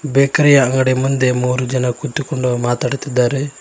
Bakery ಯ ಅಂಗಡಿಯ ಮುಂದೆ ಮೂರು ಜನ ಕುತುಕೊಂಡು ಮಾತಾಡುತ್ತಿದ್ದಾರೆ.